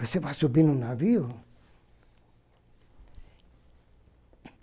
Você vai subir no navio?